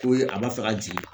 Ko ye a b'a fɛ ka jigin